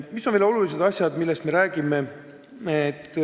Mis on veel oluline?